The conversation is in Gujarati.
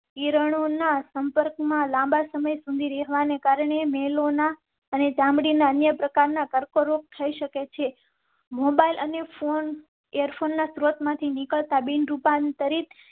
કિરણો ના સંપર્કમાં લાંબા સમય સુધી રહેવા ને કારણે મેલો ના અને ચામડી ના અન્ય પ્રકાર ના કર્કરોગ થઈ શકે છે. મોબાઈલ અને ફોન સ્ત્રોત માંથી નિકળતા બિન રૂપાંતરીત